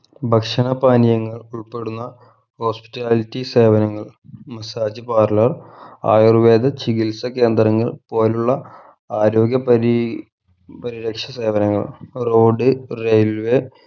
ഭക്ഷണ പാനീയങ്ങൾ ഉൾപ്പെടുന്ന hospitality സേവനങ്ങൾ massage parlour ആയുർവേദ ചികിത്സ കേന്ദ്രങ്ങൾ പോലുള്ള ആരോഗ്യ പരീ പരിരക്ഷ സേവനങ്ങൾ road railway